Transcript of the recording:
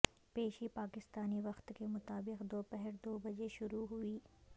پیشی پاکستانی وقت کے مطابق دوپہر دو بجے شروع ہوئی